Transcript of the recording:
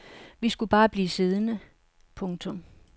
Vi skulle bare blive siddende. punktum